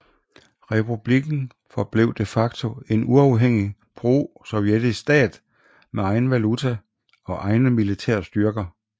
Republikken forblev de facto en uafhængig prosovjetisk stat med egen valuta og egne militære styrker